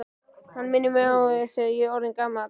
Hann minnir mig á, að ég er orðinn gamall.